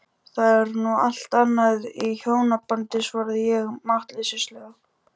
Það er nú allt annað í hjónabandi, svaraði ég máttleysislega.